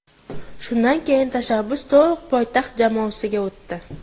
Shundan keyin tashabbus to‘liq poytaxt jamoasiga o‘tdi.